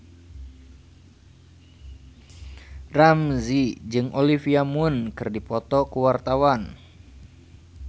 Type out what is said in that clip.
Ramzy jeung Olivia Munn keur dipoto ku wartawan